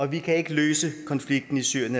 vi kan ikke løse konflikten i syrien